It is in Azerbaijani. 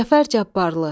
Cəfər Cabbarlı.